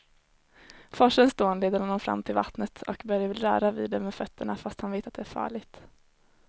Forsens dån leder honom fram till vattnet och Börje vill röra vid det med fötterna, fast han vet att det är farligt.